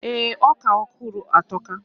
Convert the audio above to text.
Ee, oka ohuru a atoka.